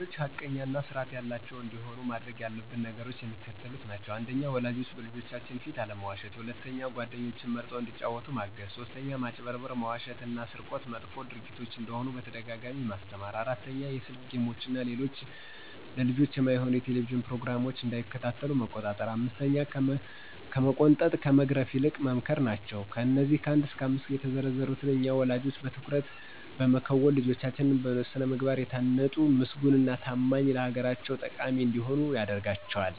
ልጆች ሐቀኛ እና ስርአት ያላቸዉ እንዲሆኑ ማድረግ ያለብን ነገሮች የሚከተሉት ናቸዉ። 1. ወላጆች በልጆቻችን ፊት አለመዋሸት 2. ጓደኞችን መርጠዉ እንዲጫወቱ ማገዝ 3. ማጭበርበር፣ መዋሸት እና ስርቆት መጥፎ ድርጊቶች እንደሆኑ በተደጋጋሚ ማስተማር 4. የስክ ጌሞችን እና ለልጆች የማይሆኑ የቴሌቭዥን ፕሮግራሞች እንዳይከታተሉ መቆጣጠር 5ከመቆንጠጥ ከመግረፍ ይልቅ መምከር ናቸዉ። አነዚህ ከ1 እስከ 5 የተዘረዘሩትን እኛ ወለጆች በትኩረት በመከወን ልጆቻችን በስነ ምግባር የታነጡ ምስጉን እና ታማኝ ለአገራቸው ጠቃሚ እንዲሆኑ ያደርጋቸዋል።